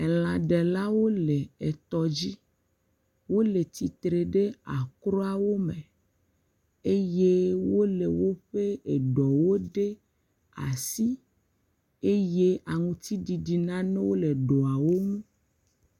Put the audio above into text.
Elãɖelawo le etɔdzi. Wole tsitre ɖe akroawo me eye wole woƒe eɖɔwo ɖe asi. Eye aŋutiɖiɖi nanewo le eɖɔawo ŋu.